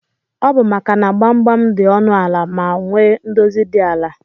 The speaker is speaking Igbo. Ọbụ maka na gbamgbam di ọnụ ala ma nwee ndozi di ala.